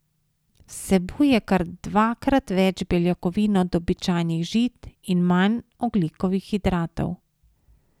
Vsebuje kar dvakrat več beljakovin od običajnih žit in manj ogljikovih hidratov.